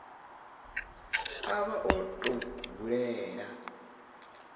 a vha o tou hulela